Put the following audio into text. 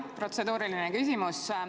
Jah, protseduuriline küsimus.